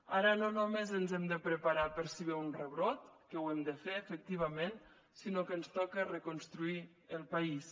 ara no només ens hem de preparar per si ve un rebrot que ho hem de fer efectivament sinó que ens toca reconstruir el país